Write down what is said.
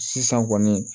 Sisan kɔni